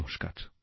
নমস্কার